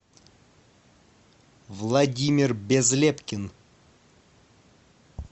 владимир безлепкин